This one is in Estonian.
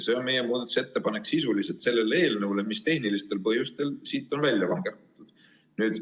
See on meie muudatusettepanek selle eelnõu kohta, mis tehnilistel põhjustel on välja langenud.